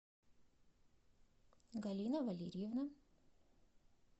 галина валерьевна